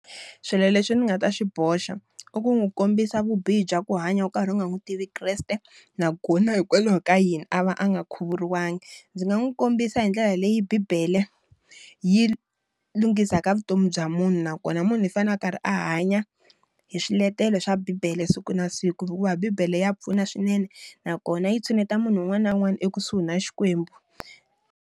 Swilo leswi nga ta swi boxa, i ku n'wi kombisa vubihi bya ku hanya u karhi u nga n'wi tivi Kreste, nakona hikokwalaho ka yini a va a nga khuvuriwanga. Ndzi nga n'wi kombisa hi ndlela leyi bibele yi lunghisa ka vutomi bya munhu nakona munhu hi fanele a karhi a hanya hi swiletelo swa bibele siku na siku hikuva bibele ya pfuna swinene, na kona yi tshineta munhu un'wana na un'wana ekusuhi na Xikwembu.